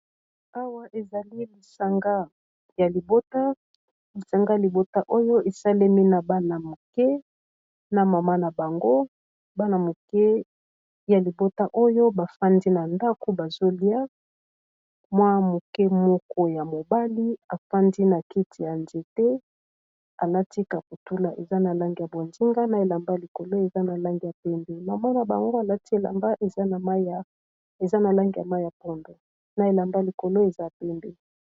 awa ezali lisanga ya libota oyo esalemi na bana moke na mama na bango bana moke ya libota oyo bafandi na ndako bazolia mwa moke moko ya mobali efandi na keti ya nzete alati kapitula eza na langi ya bonzinga na elamba likolo eza na langi ya pembe maman na bango alati elamba eza na langi ya mai ya pondo na elamba likolo eza pembe